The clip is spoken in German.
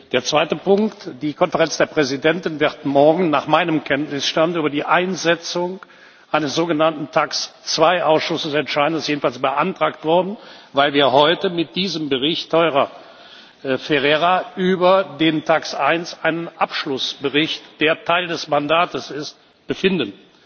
Der zweite Punkt Die Konferenz der Präsidenten wird morgen nach meinem Kenntnisstand über die Einsetzung eines sogenannten TAXE II Ausschusses entscheiden. Das ist jedenfalls beantragt worden, weil wir heute mit diesem Bericht Theurer Ferreira über den TAXE I Ausschuss über einen Abschlussbericht, der Teil des Mandates ist, befinden.